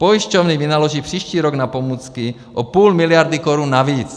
Pojišťovny vynaloží příští rok na pomůcky o půl miliardy korun navíc.